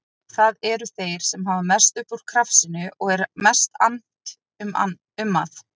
Það eru þeir sem hafa mest upp úr krafsinu og er mest annt um að